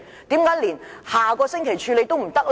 為何連下星期處理也不可以？